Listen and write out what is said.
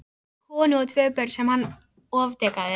Hann átti konu og tvö börn sem hann ofdekraði.